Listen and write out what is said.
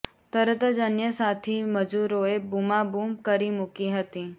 તરત જ અન્ય સાથી મજૂરોએ બૂમાબૂમ કરી મૂકી હતી